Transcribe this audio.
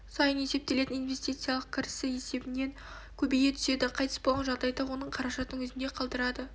сайын есептелетін инвестициялық кірісі есебінен көбейе түседі қайтыс болған жағдайда оның қаражатын өзінде қалдырады